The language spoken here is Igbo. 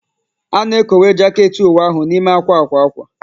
A na-ekowe jaket uwe ahụ n'ime akwa akwa akwa